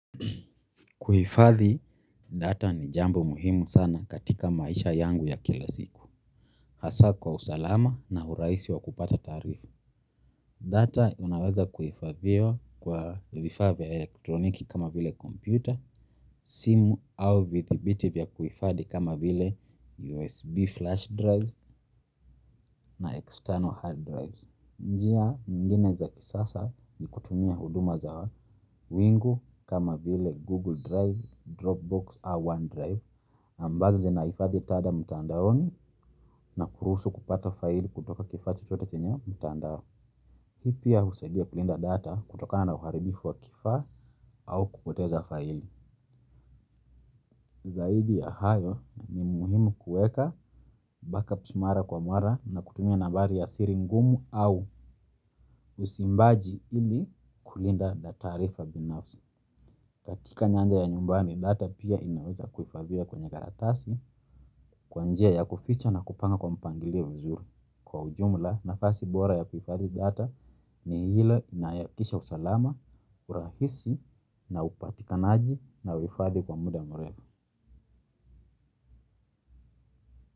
Kuhifadhi data ni jambo muhimu sana katika maisha yangu ya kila siku. Hasa kwa usalama na urahisi wa kupata taarifa. Data inaweza kuhifadhiwa kwa vifaa vya elektroniki kama vile kompyuta, simu au vifaa vya kuhifadhi kama vile USB flash drives na external hard drives. Njia nyingine za kisasa ni kutumia huduma za wingu kama vile Google Drive, Dropbox, au OneDrive. Ambazo zinahifadhi data mtandaoni na kuruhusu kupata faili kutoka kifaa chochote chenye mtandao. Hii pia husaidia kulinda data kutokana na uharibifu wa kifaa au kupoteza faili. Zaidi ya hayo, ni muhimu kuweka backup mara kwa mara na kutumia nambari ya siri au usimbaji ili kulinda data na taarifa binafsi. Katika nyanja ya nyumbani, data pia inaweza kuhifadhiwa kwenye karatasi kwa njia ya kuficha na kupanga kwa mpangilio mzuri. Kwa ujumla na fasi bora ya wifadhi data ni hile inayakisha usalama, urahisi na upatika naaji na wifadhi kwa muda mwrema.